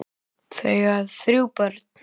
Þau eiga þrjú börn.